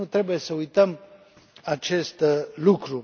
Nu trebuie să uităm acest lucru.